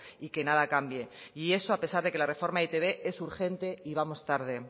y que nada cambie y eso a pesar de que la reforma de e i te be es urgente y vamos tarde